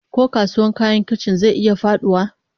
Ko kasuwar kayan kicin zai iya faduwa?